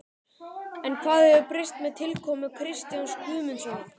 En hvað hefur breyst með tilkomu Kristjáns Guðmundssonar?